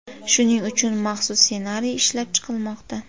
Shuning uchun maxsus ssenariy ishlab chiqilmoqda.